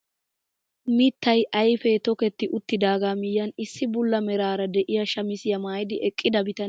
Mittay ayfee toketti uttidagaa miyiyaan issi bulla meraara de'iyaa shamisiyaa maayidi eqqida bitanee ba kushiyaan mangguwaa mittaa ayfiyaa oyqqidi eqqiis.